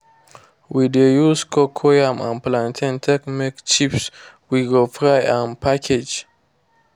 we de use cocoyam and plantain take make chips we go fry and package.